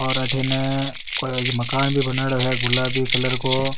और अठीने कोई मकान भी बनायडॉ है गुलाबी कलर को।